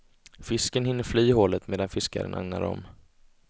Fisken hinner fly hålet medan fiskaren agnar om.